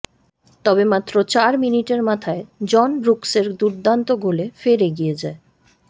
তবে মাত্র চার মিনিটের মাথায় জন ব্রুকসের দুর্দান্ত গোলে ফের এগিয়ে যায়